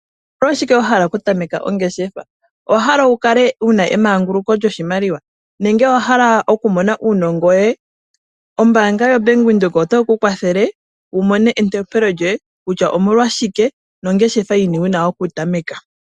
Omolwashike wa hala okutameka ongeshefa? Owa hala okukala wuna emanguluko lyoshimaliwa nenge owa hala okumona uunongo. Ombaanga yobank Windhoek otayi kukwathele wu mone entopelo lyoye kutya omolwashike nongeshefa yini wuna okutameka.